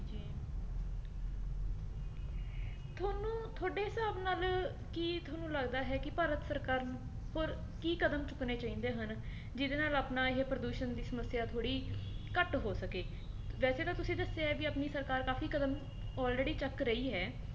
ਕੀ ਤੁਹਾਨੂੰ ਲੱਗਦਾ ਹੈ ਕੀ ਭਾਰਤ ਸਰਕਾਰ ਨੂੰ ਹੋਰ ਕੀ ਕਦਮ ਚੁੱਕਣੇ ਚਾਹੀਦੇ ਹਨ ਜਿਹਦੇ ਨਾਲ ਆਪਣਾ ਇਹ ਪ੍ਰਦੂਸ਼ਣ ਦੀ ਸਮੱਸਿਆ ਥੋੜੀ ਘੱਟ ਹੋ ਸਕੇ, ਵੈਸੇ ਤਾਂ ਤੁਸੀ ਦੱਸਿਆ ਐ ਕੀ ਆਪਣੀ ਸਰਕਾਰ ਕਾਫੀ ਕਦਮ already ਚੱਕ ਰਹੀ ਹੈ